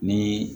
Ni